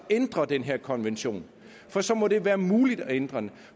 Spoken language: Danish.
ændre den her konvention så må det være muligt at ændre den